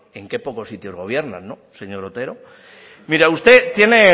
en qué pocos sitios gobierna señor otero mira usted tiene